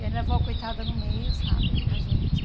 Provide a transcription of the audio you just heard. E aí minha avó coitada no meio, sabe, da gente.